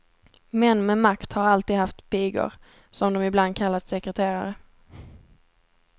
Män med makt har alltid haft pigor, som de ibland kallat sekreterare.